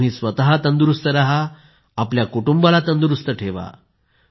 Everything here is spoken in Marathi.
तुम्ही स्वतः तंदुरुस्त रहा आपल्या कुटुंबाला तंदुरुस्त ठेवा